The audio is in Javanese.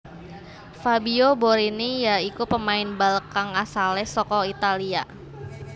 Fabio Borini ya iku pemain bal kang asalé saka Italia